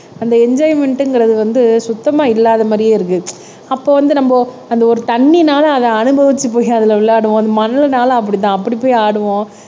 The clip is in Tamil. அந்த என்ஜோய்மேன்ட்ங்கிறது வந்து சுத்தமா இல்லாத மாதிரியே இருக்கு. அப்ப வந்து நம்ம அந்த ஒரு தண்ணினால அத அனுபவிச்சு போய் அதுல விளையாடுவோம் அந்த மண்ணுனால அப்படிதான் அப்படி போய் ஆடுவோம்